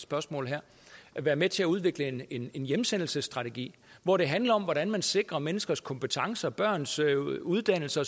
spørgsmål her være med til at udvikle en en hjemsendelsesstrategi hvor det handler om hvordan man sikrer menneskers kompetencer børns uddannelse